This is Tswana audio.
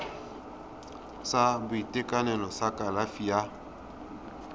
sa boitekanelo sa kalafi ya